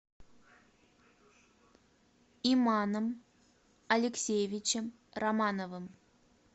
иманом алексеевичем романовым